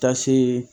Ta seegin